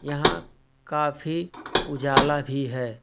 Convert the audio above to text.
यहां काफी उजाला भी है।